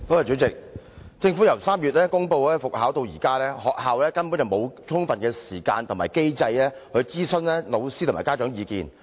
主席，政府由3月公布復考至今，學校根本沒有充分時間和機制諮詢老師和家長的意見。